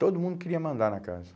Todo mundo queria mandar na casa.